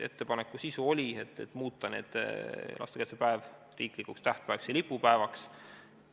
Ettepaneku sisu oli muuta lastekaitsepäev riiklikuks tähtpäevaks ja lipupäevaks.